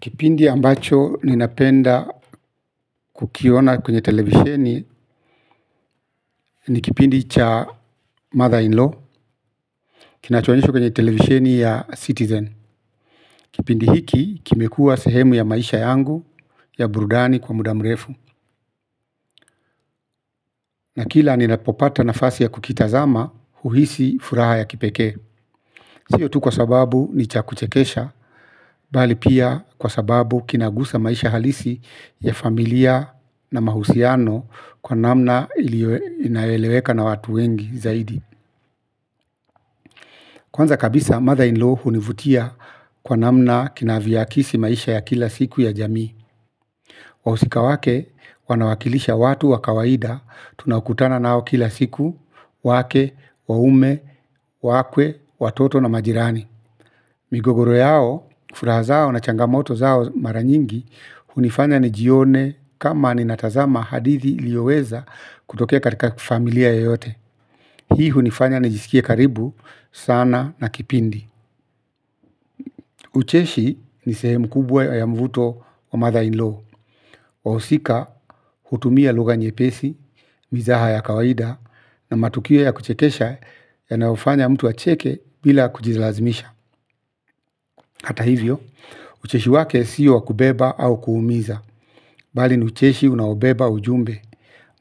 Kipindi ambacho ninapenda kukiona kwenye televisheni ni kipindi cha mother-in-law kinacho onyeshwa kwenye televisheni ya Citizen. Kipindi hiki kimekua sehemu ya maisha yangu ya burudani kwa muda mrefu. Na kila ninapopata nafasi ya kukitazama uhisi furaha ya kipekee. Sio tu kwa sababu ni cha kuchekesha bali pia kwa sababu kinagusa maisha halisi ya familia na mahusiano kwa namna inayoeleweka na watu wengi zaidi. Kwanza kabisa mother in law univutia kwa namna kinaviakisi maisha ya kila siku ya jamii. Wausika wake wanawakilisha watu wa kawaida tunakutana nao kila siku wake, waume, waakwe, watoto na majirani. Migogoro yao, furaha zao na changamoto zao mara nyingi, unifanya nijione kama ninatazama hadithi ilioweza kutokea katika familia yoyote. Hii hunifanya nijiskie karibu sana na kipindi. Ucheshi ni sehemu kubwa ya mvuto wa mother-in-law. Wausika utumia lugha nyepesi, mizaha ya kawaida na matukio ya kuchekesha yanayofanya mtu acheke bila kujilazimisha. Hata hivyo, ucheshi wake sio wa kubeba au kuumiza, bali ni ucheshi unaobeba ujumbe.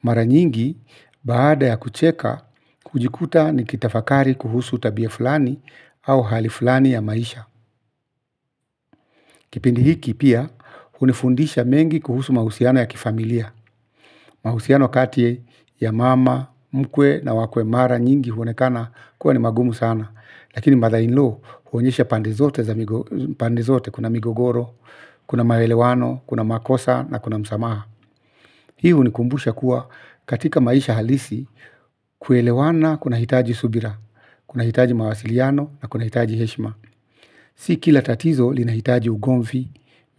Mara nyingi, baada ya kucheka, ujikuta nikitafakari kuhusu tabia fulani au hali fulani ya maisha. Kipindi hiki pia unifundisha mengi kuhusu mahusiano ya kifamilia. Mahusiano kati ya mama, mkwe na wakwe mara nyingi huonekana kuwa ni magumu sana lakini mother in law uonyesha pande zote kuna migogoro, kuna maelewano, kuna makosa na kuna msamaha. Hii unikumbusha kuwa katika maisha halisi kuelewana kunaitaji subira kunaitaji mawasiliano na kunaitaji heshima. Si kila tatizo linaitaji ugomvi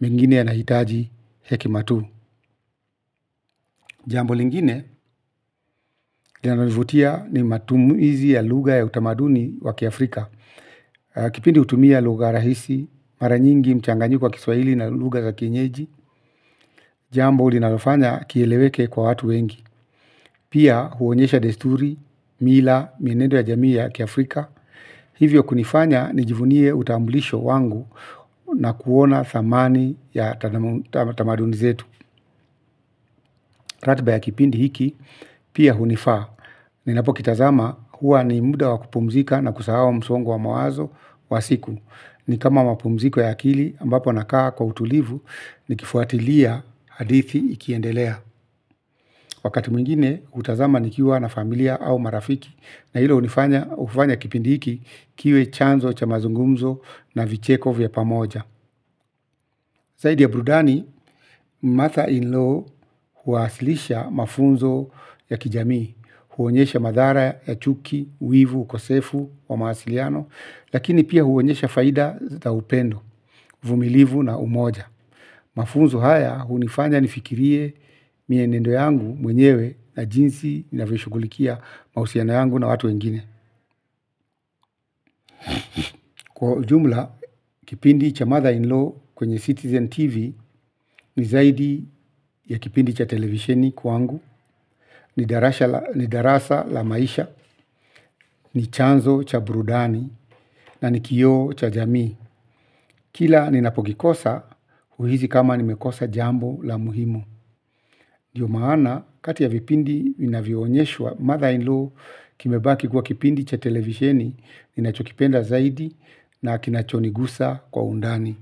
mengine yanaitaji hekima tu. Jambo lingine linanalo nivutia ni matumuizi ya lugha ya utamaduni wa kiafrika. Kipindi utumia lugha rahisi, mara nyingi mchanganyiko wa kiswaili na lugha za kienyeji. Jambo linalofanya kieleweke kwa watu wengi. Pia uonyesha desturi, mila, mienendo ya jamii ya kiafrika. Hivyo kunifanya nijivunie utambulisho wangu na kuona thamani ya tamaduni zetu. Ratba ya kipindi hiki pia unifaa. Ninapo kitazama huwa ni muda wa kupumzika na kusahau msongo wa mawazo wa siku. Ni kama mapumziko ya akili ambapo nakaa kwa utulivu nikifuatilia hadithi ikiendelea. Wakati mwingine utazama nikiwa na familia au marafiki na hilo ufanya kipindi hiki kiwe chanzo cha mazungumzo na vicheko vya pamoja. Zaidi ya brudani, mother in law uwasilisha mafunzo ya kijamii. Huonyesha madhara ya chuki, wivu, ukosefu wa mawasiliano. Lakini pia uonyesha faida za upendo, uvumilivu na umoja. Mafunzo haya unifanya nifikirie mienendo yangu mwenyewe na jinsi ninavyo shugulikia mausiano yangu na watu wengine kwa ujumla, kipindi cha mother in law kwenye Citizen TV ni zaidi ya kipindi cha televisheni kwangu ni darasha. Ni darasa la maisha, ni chanzo cha brudani na ni kioo cha jamii. Kila ninapokikosa, uhizi kama nimekosa jambo la muhimu dio maana, kati ya vipindi vinavyo onyeshwa mother-in-law kimebaki kuwa kipindi cha televisheni ninachokipenda zaidi na kinachonigusa kwa undani.